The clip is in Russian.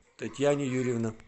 татьяна юрьевна